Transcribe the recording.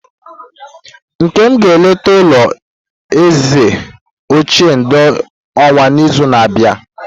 Nkem ga-eleta ulo eze ochie ndi Owo n'izu na-abịa.